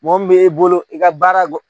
Mɔgɔ min bɛ bolo i ka baara gɔ.